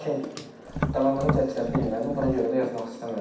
Lakin davamını gətirə bilmədim, buna görə də yazmaq istəmədim.